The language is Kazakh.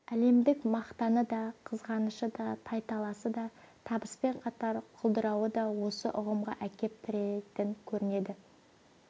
әлемдік мақтаны да қызғанышы да тайталасы да табыспен қатар құлдырауы да осы ұғымға әкеп тірейтін көрінеді